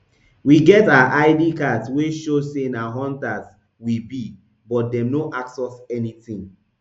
we get our id cards wey show say na hunters we be but dem no ask us anything